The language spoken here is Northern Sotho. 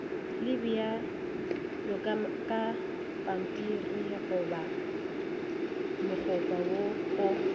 le bjalokapampirigoba mokgopa wo o